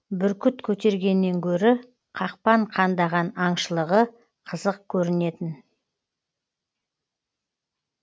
бүркіт көтергеннен гөрі қақпан қандаған аңшылығы қызық көрінетін